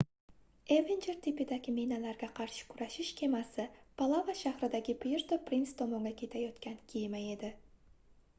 evenjer tipidagi minalarga qarshi kurashish kemasi palava shahridagi puerto prince tomonga ketayotgan kema edi